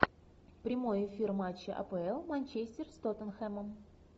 прямой эфир матча апл манчестер с тоттенхэмом